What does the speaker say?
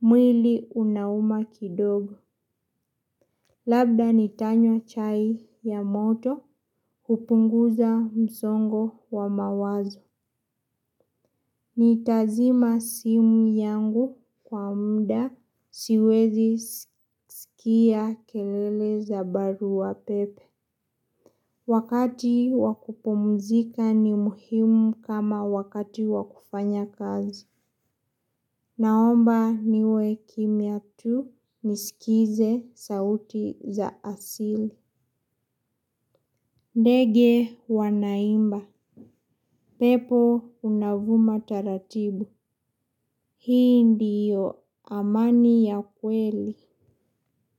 Mwili unauma kidogo. Labda nitanywa chai ya moto. Kupunguza msongo wa mawazo. Ni tazima simu yangu kwa muda siwezi sikia kelele za baru wa pepe. Wakati wakupumzika ni muhimu kama wakati wakufanya kazi. Naomba niwe kimya tu nisikize sauti za asili. Ndege wanaimba, pepo unavuma taratibu. Hii ndiyo amani ya kweli.